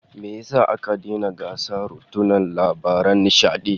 Me yasa aka daina gasar runuta labaran nishadi?